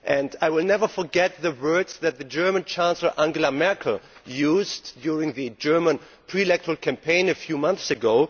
I will never forget the words that the German Chancellor, Angela Merkel, used during the German electoral campaign a few months ago.